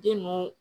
Den ninnu